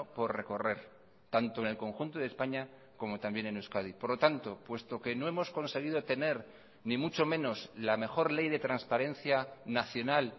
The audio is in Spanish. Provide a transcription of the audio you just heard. por recorrer tanto en el conjunto de españa como también en euskadi por lo tanto puesto que no hemos conseguido tener ni mucho menos la mejor ley de transparencia nacional